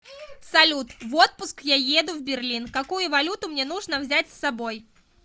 салют в отпуск я еду в берлин какую валюту мне нужно взять с собой